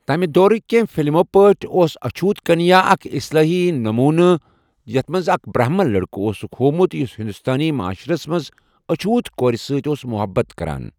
تَمہِ دورٕکۍ کینٛہہ فِلمو پٲٹھۍ اوس اچھوت کنیا اکھ اصلٲحی نموٗنہٕ یَتھ منٛز اکھ برہمن لڑکہٕ اوسُکھ ہووٚمُت یُس ہندوستٲنی معاشرَس منٛز اچھوت کورِ سۭتۍ اوس مَحبَت کران۔